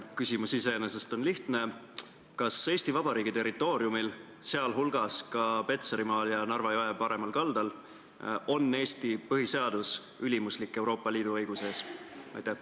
Küsimus iseenesest on lihtne: kas Eesti Vabariigi territooriumil, sealhulgas ka Petserimaal ja Narva jõe paremal kaldal, on Eesti põhiseadus Euroopa Liidu õiguse suhtes ülimuslik?